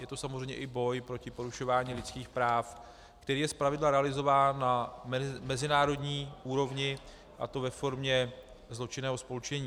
Je to samozřejmě i boj proti porušování lidských práv, který je zpravidla realizován na mezinárodní úrovni, a to ve formě zločinného spolčení.